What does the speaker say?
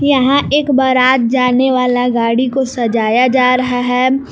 यहां एक बारात जाने वाला गाड़ी को सजाया जा रहा है।